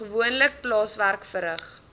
gewoonlik plaaswerk verrig